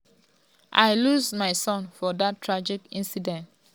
um "i lose my son for dat tragic incident.